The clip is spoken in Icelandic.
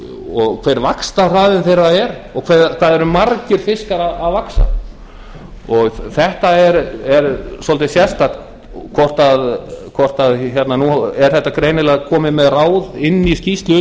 og hver vaxtarhraði þeirra er og hvað það eru margir fiskar að vaxa þetta er svolítið sérstakt nú er þetta greinilega komið með inn í skýrslu